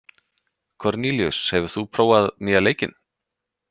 Kornelíus, hefur þú prófað nýja leikinn?